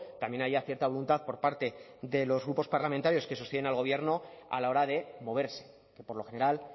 también haya cierta voluntad por parte de los grupos parlamentarios que sostienen al gobierno a la hora de moverse que por lo general